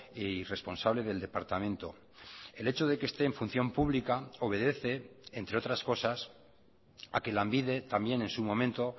y responsable del departamento el hecho de que esté en función pública obedece entre otras cosas a que lanbide también en su momento